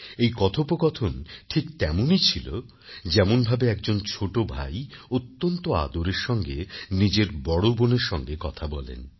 এই কথোপকথন ঠিক তেমনই ছিল যেমনভাবে একজন ছোট ভাই অত্যন্ত আদরের সঙ্গে নিজের বড় বোনের সঙ্গে কথা বলেন